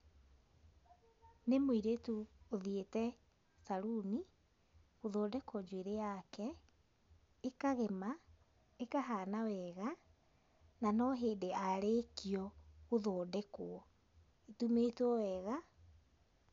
Nĩ mũirĩtu ũthiĩte caruni, gũthondekwo njuĩrĩ yake, ĩkagema, ĩkahana weega, na no hĩndĩ aarĩkio gũthondekwo. Atumĩtwo wega,